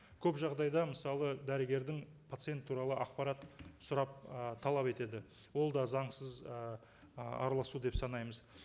көп жағдайда мысалы дәрігердің пациент туралы ақпарат сұрап ы талап етеді ол да заңсыз ыыы араласу деп санаймыз